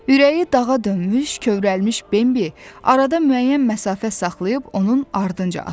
Ürəyi dağa dönmüş, kövrəlmiş Bimbi arada müəyyən məsafə saxlayıb onun ardınca addandı.